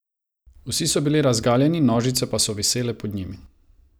Vsi so bili razgaljeni, nožnice pa so visele pod njimi.